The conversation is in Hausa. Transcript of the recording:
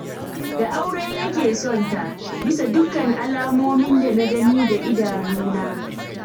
Da aure yake son ta, bisa dukkan alamomin da na gani da idanuna